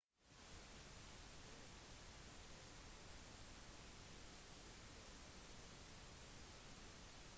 pittmann antydet at forholdene ikke vil forbedres før neste uke